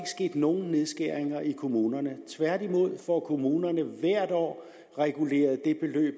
sket nogen nedskæringer i kommunerne tværtimod får kommunerne hvert år reguleret det beløb